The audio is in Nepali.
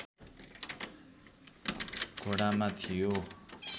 घोडामा थियो